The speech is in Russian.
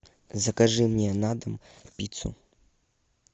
закажи мне на дом пиццу